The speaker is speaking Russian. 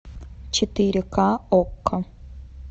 четыре ка окко